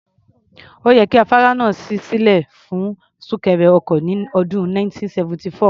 Ó yẹ kí afárá náà ṣí sílẹ̀ fún súnkẹrẹ ọkọ̀ ní ọdún 1974.